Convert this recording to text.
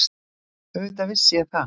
Auðvitað vissi ég það.